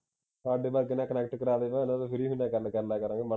ਸਾਡੇ ਤੱਕ ਕੰਨੇਕਟ ਕਰਾਦੇ ਨਾ ਉਹਨਾਂ ਨਾਲ ਫ੍ਰੀ ਮਹੀਨੇ ਗੱਲ ਕਰ ਲਿਆ ਕਰਾਂਗੇ